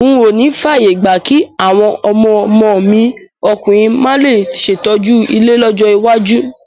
N ò níí fààyè gba kí àwọn ọmọ ọmọ mi ọkùnrin máa le ṣètọ́jú ilé lọ́jọ́ iwájú.